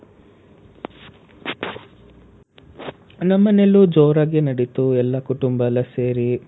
ನಮ್ಮನೇಲೂ ಜೋರಾಗಿ ನಡೀತು ಎಲ್ಲಾ ಕುಟುಂಬ ಎಲ್ಲಾ ಸೇರಿ.